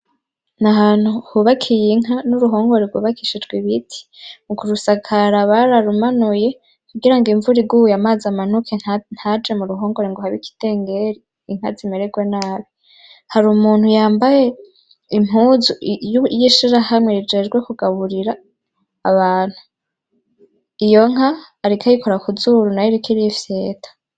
N'ahantu hubakiy'inka n'uruhongore rwubakishijw'ibiti, mu kurusakara bararumanuye kugira ng'imvura iguye amazi amanuke ntaje mu ruhongore ngo habe kindenderi inka zimererwe nabi. Har'umuntu yambaye impuzu y'ishirahamwe rijejwe kugaburira abantu, iyo nka ariko ayikora ku zuru nayiriko irifyeta.